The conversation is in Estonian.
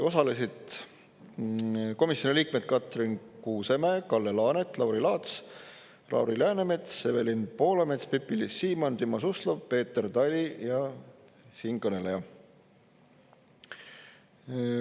Osalesid komisjoni liikmed Katrin Kuusemäe, Kalle Laanet, Lauri Laats, Lauri Läänemets, Evelin Poolamets, Pipi-Liis Siemann, Timo Suslov, Peeter Tali ja siinkõneleja.